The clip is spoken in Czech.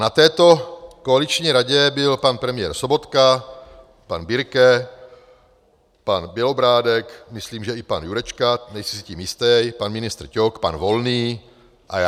Na této koaliční radě byl pan premiér Sobotka, pan Birke, pan Bělobrádek, myslím, že i pan Jurečka, nejsem si tím jistý, pan ministr Ťok, pan Volný a já.